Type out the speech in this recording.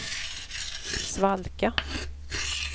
svalka